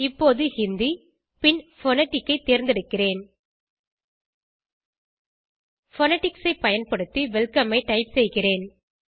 இப்போது ஹிந்தி பின் போனடிக் ஐ தேர்ந்தெடுக்கிறேன் போனடிக்ஸ் ஐ பயன்படுத்தி வெல்கம் ஐ டைப் செய்கிறேன்